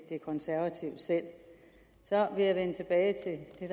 de konservative selv så vil jeg vende tilbage